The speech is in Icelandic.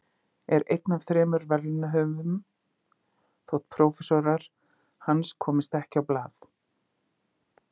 Er einn af þremur verðlaunahöfum þótt prófessorar hans komist ekki á blað.